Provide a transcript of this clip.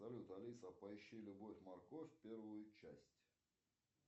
салют алиса поищи любовь морковь первую часть